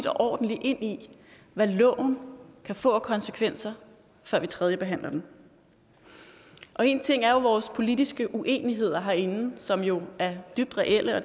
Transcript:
ordentligt ind i hvad loven kan få af konsekvenser før vi tredjebehandler den en ting er vores politiske uenigheder herinde som jo er dybt reelle og